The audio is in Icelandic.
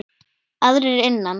Aðrir innan